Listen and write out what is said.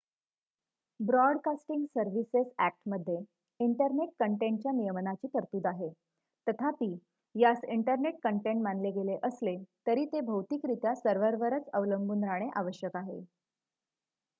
broadcasting services अ‍ॅक्टमध्ये internet कंटेंटच्या नियमनाची तरतूद आहे तथापि यास इंटरनेट कंटेंट मानले गेले असले तरी ते भौतिकरित्या सर्व्हरवरच अवलंबून राहणे आवश्यक आहे